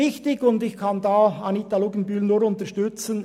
Ich kann Anita Luginbühl nur unterstützen: